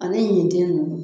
Ani ɲintin nunnu